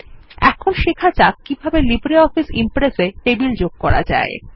এখন শেখা যাক কিভাবে লিব্রিঅফিস Impress এ টেবিল যোগ করা যায়